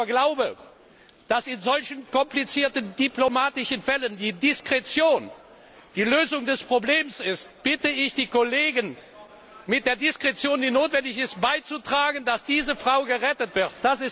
Weil ich aber glaube, dass in solchen komplizierten diplomatischen Fällen die Diskretion die Lösung des Problems ist, bitte ich die Kollegen, mit der notwendigen Diskretion dazu beizutragen, dass diese Frau gerettet wird.